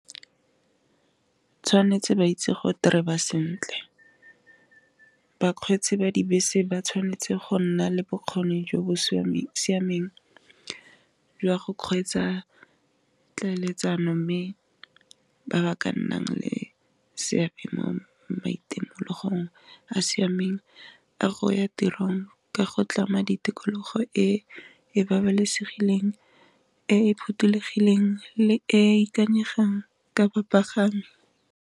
Tshwanetse ba itse go tereba sentle, bakgweetsi ba dibese ba tshwanetse go nna le bokgoni jo bo siameng jwa go kgweetsa tlhaeletsano, mme ba ba ka nnang le seabe mo maitemogelong a siameng a go ya tirong ka go tlama di tikologo, e e babalesegileng, e e phothulogileng, e ikanyegang ka popaganyo.